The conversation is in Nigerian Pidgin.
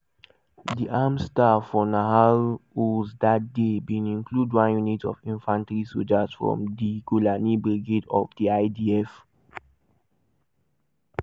di armed staff for nahal oz dat day bin include one unit of infantry sojas from di golani brigade of di idf.